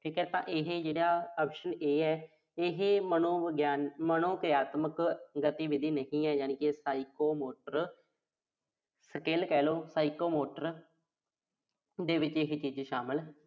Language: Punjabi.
ਠੀਕ ਆ। ਤਾਂ ਇਹੇ ਜਿਹੜਾ option A ਆ, ਇਹ ਮਨੋਵਿਗਿਆ ਅਹ ਮਨੋਕਿਰਿਆਤਮਕ ਗਤੀਵਿਧੀ ਨਹੀਂ ਆ। ਯਾਨੀ ਕਿ Psychomotor skill ਕਹਿ ਲੋ Psychomotor activity ਇਸ ਚ ਸ਼ਾਮਲ